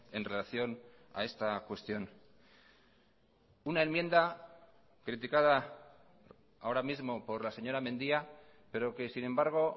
en relación a esta cuestión una enmienda criticada ahora mismo por la señora mendia pero que sin embargo